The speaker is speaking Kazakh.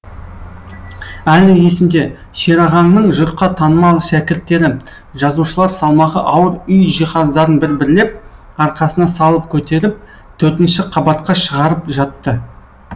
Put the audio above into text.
әлі есімде шерағаңның жұртқа танымал шәкірттері жазушылар салмағы ауыр үй жиһаздарын бір бірлеп арқасына салып көтеріп төртінші қабатқа шығарып жатты